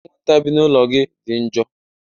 anwụnta bi n'ụlọ gị dị njọ